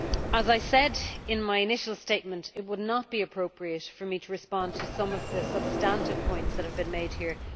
As I said in my initial statement, it would not be appropriate for me to respond at this point to some of the substantive points that have been made here.